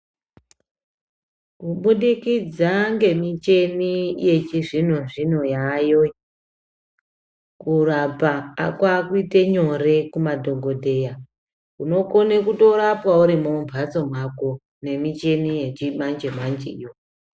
Kubudikidza ngemichini yechizvino-zvino yaayo iyi, kurapa kwaakuite nyore kumadhogodheya. Unokone kutorapwa urimwo mumbatso mwako nemichini yechimanje-manjeyo.